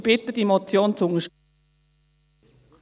Ich bitte Sie, die Motion zu unterstützen.